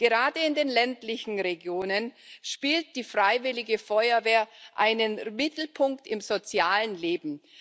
Gerade in den ländlichen Regionen spielt die Freiwillige Feuerwehr einen Mittelpunkt im sozialen Leben.